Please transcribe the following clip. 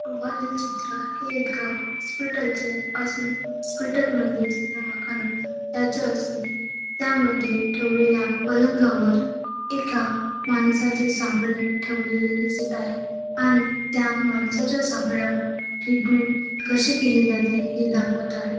वरील चित्र हे एका हॉस्पिटलचे असून हॉस्पिटल म्हणजेच दवाखाना याचे असून त्यामध्ये ठेवलेल्या पलंगावर एका माणसाचे सापळे ठेवलेले दिसत आहे आणि त्या माणसाच्या सापळ्यावर ट्रीटमेंट कशी केली जाते हे दाखवत आहे.